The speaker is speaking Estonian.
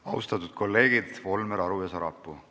Austatud kolleegid Volmer, Aru ja Sarapuu!